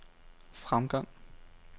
fremgang